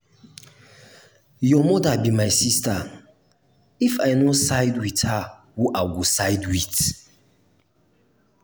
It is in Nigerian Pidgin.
your mother be my sister if i no side with her who i go side with?